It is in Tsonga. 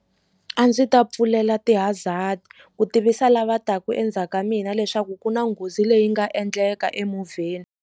A ndzi ta pfulela ti-hazzard ku tivisa lava taka endzhaku ka mina leswaku ku na nghozi leyi nga endleka emovheni.